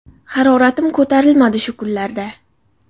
Haroratim ko‘tarilmadi shu kunlarda.